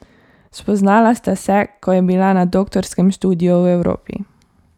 Spoznala sta se, ko je bila na doktorskem študiju v Evropi.